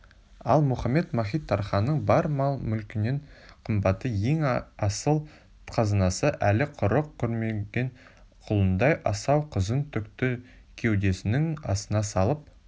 ал мұхамед-мазит-тарханның бар мал-мүлкінен қымбатты ең асыл қазынасы әлі құрық көрмеген құлындай асау қызын түкті кеудесінің астына салып